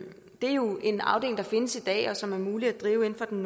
er jo en afdeling der findes i dag og som er muligt at drive inden for den